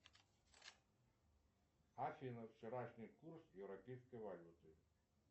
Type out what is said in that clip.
афина вчерашний курс европейской валюты